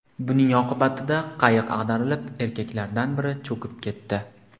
Buning oqibatida qayiq ag‘darilib, erkaklardan biri cho‘kib ketdi.